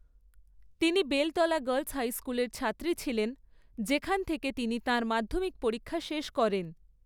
তিনি Beltala girls high স্কুলের ছাত্রী ছিলেন, যেখান থেকে তিনি তাঁর মাধ্যমিক পরীক্ষা শেষ করেন।